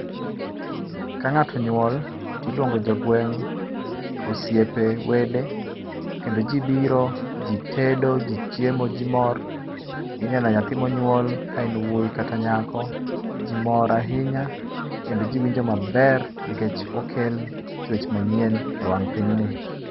Ka ng'ato onyuol to iluongo jogweng' , osiepe, wede kendo ji biro ji tedo ji chiemo ji mor, ineno nyathi monyuol ka en wuoyi kata nyako, ji mor ahinya kendo ji winjo maber nikech okle chuech manyien ewang pinyni.